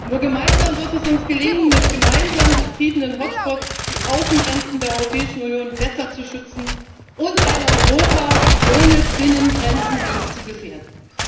Nur gemeinsam wird es uns gelingen, mit gemeinsam betriebenen Hotspots die Außengrenzen der Europäischen Union besser zu schützen und ein Europa ohne Binnengrenzen nicht zu gefährden.